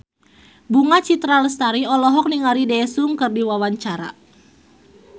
Bunga Citra Lestari olohok ningali Daesung keur diwawancara